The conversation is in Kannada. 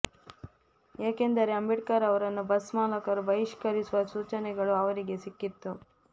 ಯಾಕೆಂದರೆ ಅಂಬೇಡ್ಕರ್ ಅವರನ್ನು ಬಸ್ ಮಾಲಕರು ಬಹಿಷ್ಕರಿಸುವ ಸೂಚನೆಗಳು ಅವರಿಗೆ ಸಿಕ್ಕಿತ್ತು